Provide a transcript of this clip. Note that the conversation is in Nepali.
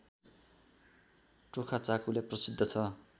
टोखाचाकुले प्रसिद्ध छ